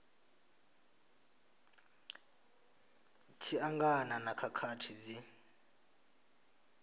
tshi angana na khakhathi dzi